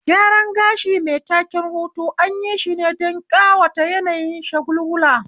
Gyaran gashi mai taken hutu anyi shine don ƙawata yanayin shagulgula